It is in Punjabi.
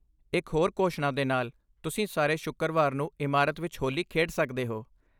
ਇੱਕ ਹੋਰ ਘੋਸ਼ਣਾ ਦੇ ਨਾਲ, ਤੁਸੀਂ ਸਾਰੇ ਸ਼ੁੱਕਰਵਾਰ ਨੂੰ ਇਮਾਰਤ ਵਿੱਚ ਹੋਲੀ ਖੇਡ ਸਕਦੇ ਹੋ।